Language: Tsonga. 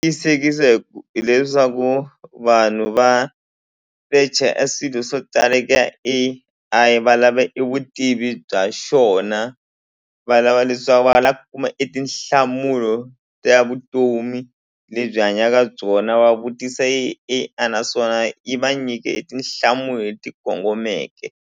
Tiyisekisa hi ku hileswaku vanhu va secha a swilo swo tala eka A_I valava e vutivi bya xona valava les swa va la ku kuma e tinhlamulo ta vutomi lebyi hanyaka byona va vutisa A_I naswona yi va nyike etinhlamulo leti kongomeke.